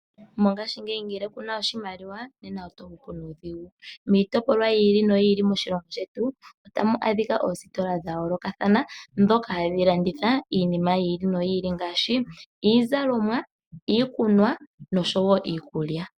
Mongashingeyi ngele kuna oshimaliwa nena oto hupu nuudhigu. Miitopolwa yi ili noyi ili moshilongo shetu otamu adhika oositola dha yoolokathana ndhoka hadhi landitha iinima yi ili noyi ili ngaashi iizalomwa, iikunwa noshowo iikulya.